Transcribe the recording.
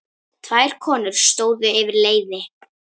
Tvær konur stóðu yfir leiði.